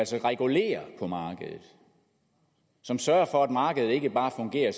som regulerer markedet som sørger for at markedet ikke bare fungerer